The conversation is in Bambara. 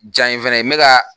Jan in fɛnɛ ye n be ka